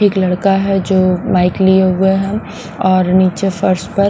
एक लड़का है जो माइक लिए हुए हैं और नीचे फर्स्ट में।